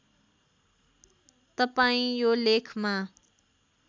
तपाईँ यो लेखमा